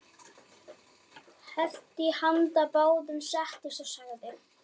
Hellti í handa báðum, settist og sagði